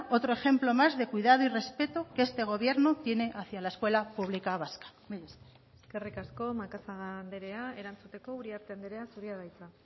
otro ejemplo más de cuidado y respeto que este gobierno tiene hacia la escuela pública vasca mila esker eskerrik asko macazaga anderea erantzuteko uriarte anderea zurea da hitza